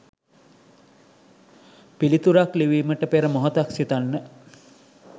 පිළිතුරක් ලිවීමට පෙර මොහොතක් සිතන්න.